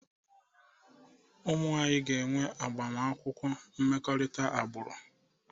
Ụmụ anyị ga-enwe agbamakwụkwọ mmekọrịta agbụrụ.